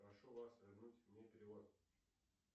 прошу вас вернуть мне перевод